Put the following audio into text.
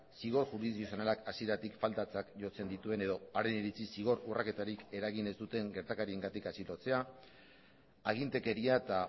zigor juridizionalak hasieratik faltatzat jotzen dituen eta haren iritziz zigor urraketarik eragin ez duten gertakariengatik atxilotzea agintekeria eta